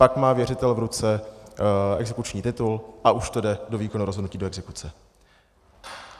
Pak má věřitel v ruce exekuční titul a už to jde do výkonu rozhodnutí, do exekuce.